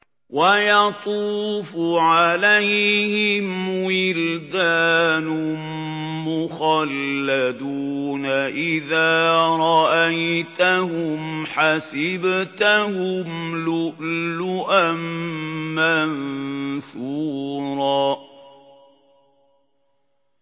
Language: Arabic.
۞ وَيَطُوفُ عَلَيْهِمْ وِلْدَانٌ مُّخَلَّدُونَ إِذَا رَأَيْتَهُمْ حَسِبْتَهُمْ لُؤْلُؤًا مَّنثُورًا